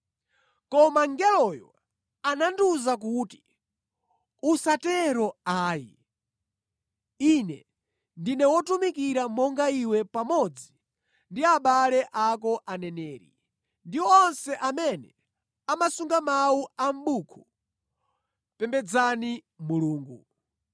Koma mngeloyo anandiwuza kuti, “Usatero ayi! Ine ndine wotumikira monga iwe pamodzi ndi abale ako aneneri ndi onse amene amasunga mawu a mʼbuku pembedzani Mulungu.”